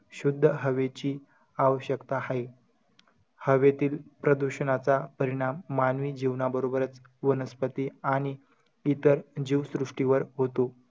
शुध्द हवेची आवश्यकता हाये. हवेतील प्रदूषणाचा परिणाम मानवी जीवनाबरोबरच वनस्पती आणि इतर जीवसृष्टीवर होतो.